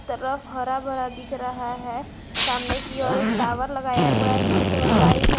Rough हरा भरा दिख रहा है सामने की ओर एक टॉवर लगाया हुआ है जिसका कलर व्हाइट है।